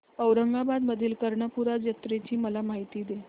औरंगाबाद मधील कर्णपूरा जत्रेची मला माहिती दे